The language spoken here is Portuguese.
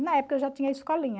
E na época eu já tinha escolinha.